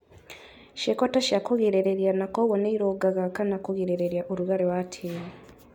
Ciĩko ta cia kũgirĩrĩria na kwoguo nĩirũngaga kana kũgirĩrĩria ũrugarĩ wa tĩri